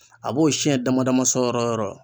A b'o sɛn dama dama sɔ yɔrɔ yɔrɔ